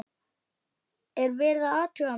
Er verið að athuga mig?